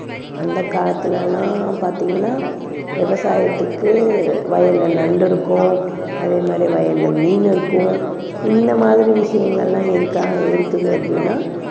அந்தக் காலத்துல எல்லாம் பார்த்தீங்கன்னா விவசாயத்துக்கு வயல்ல நண்டு இருக்கும், அதே மாதிரி வயல்ல மீன் இருக்கும். இந்த மாதிரி விஷயங்கள் எல்லாம் எதுக்காக இருக்குது அப்படின்னா